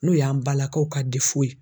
N'o y'an balakaw ka